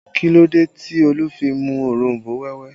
Kí ló dé tí Olu fi mu òronbó wẹ́wẹ́